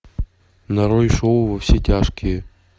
нарой шоу во все тяжкие